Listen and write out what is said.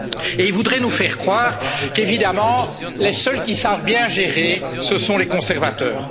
Et il voudrait nous faire croire qu'évidemment, les seuls qui savent bien gérer, ce sont les conservateurs.